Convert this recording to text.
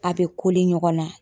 A bɛ ɲɔgɔn na